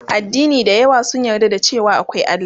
Addini da yawa sun yarda da cewa akwai Allah